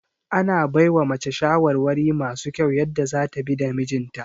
Ana baiwa mace shawarwari masu kyau yadda zata bi da mijinta